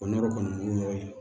O nɔrɔ kɔni y'o ye